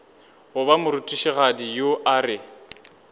goba morutišigadi yo a re